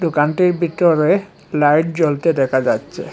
দোকানটির বিতরে লাইট জ্বলতে দেখা যাচ্ছে।